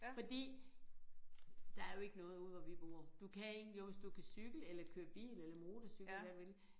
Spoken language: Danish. Fordi der er jo ikke noget ude hvor vi bor du kan ikke jo hvis du kan køre cykel eller bil eller motorcykel eller hvad du vil